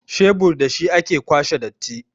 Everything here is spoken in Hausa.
shebur da shi ake kwashe datti